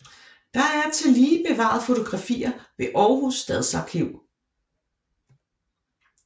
Der er tillige bevaret fotografier ved Aarhus Stadsarkiv